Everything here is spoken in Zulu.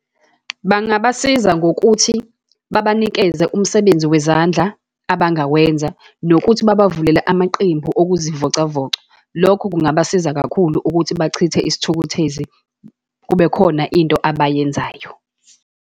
Bangabasiza ngokuthi babanikeze umsebenzi wezandla abangawenza, nokuthi babavulele amaqembu okuzivocavoca. Lokho kungabasiza kakhulu ukuthi bachithe isithukuthezi, kubekhona into abayenzayo.